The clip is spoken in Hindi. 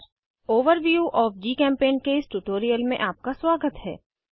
ओवरव्यू ओएफ जीचेम्पेंट के इस ट्यूटोरियल में आपका स्वागत है